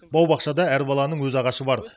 бау бақшада әр баланың өз ағашы бар